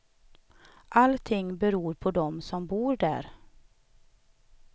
Allting beror på dem som bor där.